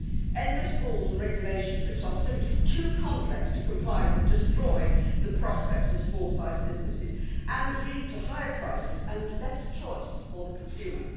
Endless rules and regulations which are simply too complex to comply with destroy the prospects of small sized businesses and lead to higher prices and less choice for the consumer.